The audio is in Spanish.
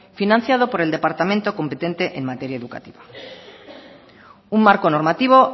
financiado por el departamento competente en materia educativa un marco normativo